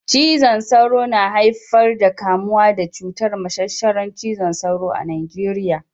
Cizon sauro na haifar kamuwa da cutar mashashara cizon sauro a Najeriya